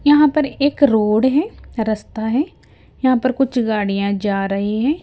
यहां पर एक रोड है रस्ता है यहां पर कुछ गाड़ियां जा रही है।